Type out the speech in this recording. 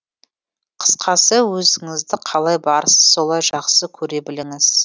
қысқасы өзіңізді қалай барсыз солай жақсы көре біліңіз